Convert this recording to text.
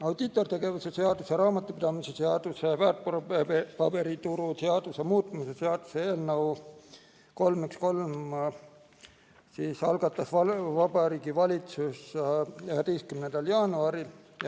Audiitortegevuse seaduse, raamatupidamise seaduse ja väärtpaberituru seaduse muutmise seaduse eelnõu 313 algatas Vabariigi Valitsus 11. jaanuaril.